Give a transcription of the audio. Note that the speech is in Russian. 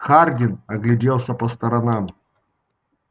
хардин огляделся по сторонам